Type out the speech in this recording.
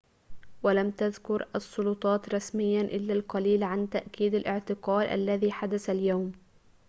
ولم تذكر السلطات رسمياً إلا القليل عن تأكيد الاعتقال الذي حدث اليوم